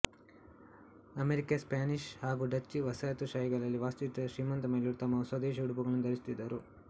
America Spanish ಹಾಗೂ Dutch ವಸಾಹತುಶಾಹಿಗಳಲ್ಲಿ ವಾಸಿಸುತ್ತಿದ್ದ ಶ್ರೀಮಂತ ಮಹಿಳೆಯರು ತಮ್ಮ ಸ್ವದೇಶಿ ಉಡುಪುಗಳನ್ನು ಧರಿಸುತ್ತಿದ್ದರು